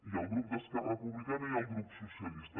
i al grup d’esquerra republicana i al grup socialistes